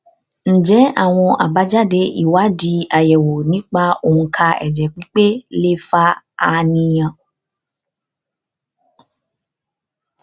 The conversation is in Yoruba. ǹjẹ àwọn àbájáde ìwádìí ayewo nípa onka ẹjẹ pipe lè fa àníyàn